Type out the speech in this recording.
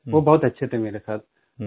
वो बहुत अच्छे थे मेरे साथ